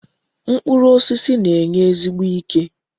Mkpụrụ osisi na-enye ezigbo ike.